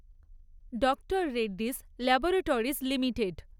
ডঃ Reddy 'স laboratories limited